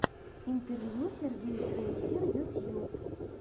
интервью сергей трейсер ютьюб